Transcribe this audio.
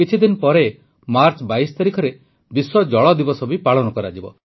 କିଛିଦିନ ପରେ ମାର୍ଚ ୨୨ ତାରିଖରେ ବିଶ୍ୱ ଜଳ ଦିବସ ବି ପାଳନ କରାଯିବ